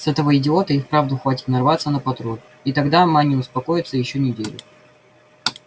с этого идиота и вправду хватит нарваться на патруль и тогда ма не успокоится ещё неделю